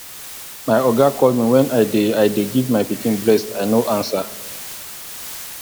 my oga call me when i dey i dey give my pikin breast i know answer